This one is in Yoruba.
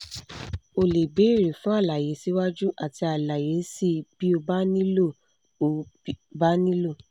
o lè béèrè fún àlàyé síwájú àti àlàyé síi bí ó bá nílò ó bá nílò